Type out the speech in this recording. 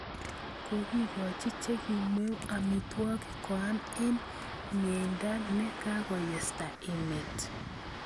Kokikochi chekimweu amitwokik koam en myeenta ne kakoyesta emet